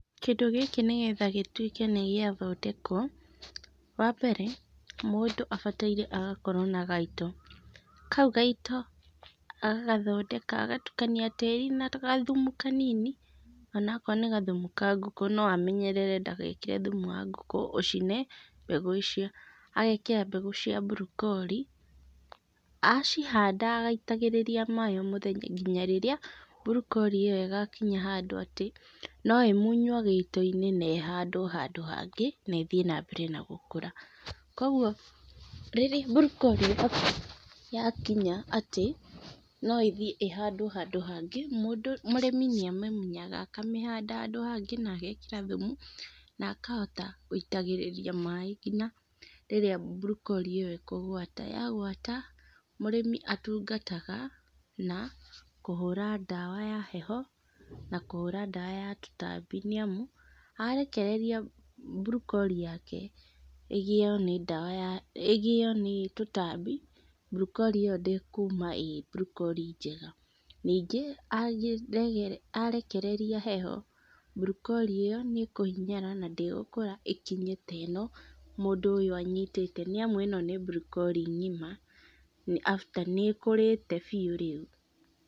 Kĩndũ gĩkĩ nĩgetha gĩtuĩke nĩ gĩathondekwo wa mbere mũndũ abataire agakorwo na gaito, kau gaito agagathondeka agagatukania tĩri na gathumu kanini ona korwo nĩ gathumu ka ngũkũ no amenyerere ndagekĩre thumu wa ngũkũ ũcine mbegũ icio, agekĩra mbegũ cia broccoli acihanda agacitagĩrĩria maĩ o mũthenya nginya rĩrĩa broccoli ĩyo ĩgakinya handũ atĩ no ĩmunywo gĩitoinĩ na ĩhandwo handũ hangĩ na ĩthiĩ na mbere na gũkũra, kwoguo broccoli yakinya atĩ o ĩthiĩ ĩhandwo handũ hangĩ, mũrĩmi nĩa mĩmunyaga akamĩhanda handũ hangĩ na agekĩra thumu na akahota gũitagĩrĩria maĩ, nginya rĩrĩa broccoli ĩyo ĩkũgwata, yagwata mũrĩmi atungataga na kũhũra dawa ya heho na kũhũra dawa ya tũtambi nĩ amu arekereria broccoli yake ĩgĩo nĩ tũtambi broccoli ĩyo ndĩngiuma ĩrĩ broccoli njega, ningĩ arekereria heho broccoli ĩyo nĩ kũhinyara na ndĩgũkũra ĩkinye ta ĩno mũndũ ũyũ anyitĩte, nĩ amu ĩno nĩ broccoli ng'ima, nĩ kũrĩte biũ rĩu.